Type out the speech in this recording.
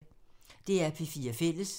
DR P4 Fælles